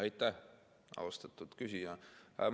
Aitäh, austatud küsija!